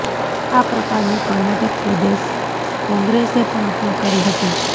આ પ્રકારની કર્ણાટક પ્રદેશ કોંગ્રેસે પણ અપીલ કરી હતી